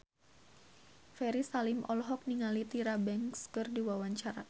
Ferry Salim olohok ningali Tyra Banks keur diwawancara